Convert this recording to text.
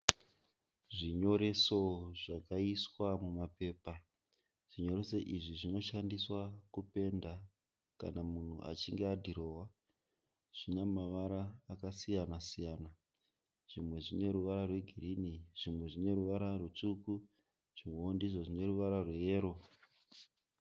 Zvinyoreso zvakaiswa mumapepa. Zvinyoreso izvi zvinoshandiswa kupenda kana munhu achinge adhirowa. Zvina mavara akasiyana siyana. Zvimwe zvine ruvara rwegirini, zvimwe zvine ruvara rutsvuku zvimweo ndizvo zvine ruvara rweyero.